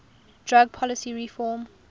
drug policy reform